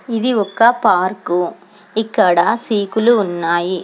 ఇది ఒక పార్కు ఇక్కడ సీకులు ఉన్నాయి.